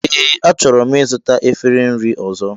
Ee, achọrọ m ịzụta efere nri ọzọ